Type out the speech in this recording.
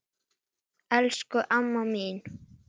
Elsku amma mín.